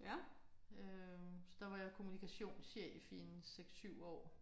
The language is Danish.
øh så der var jeg kommunikationschef i en 6 7 år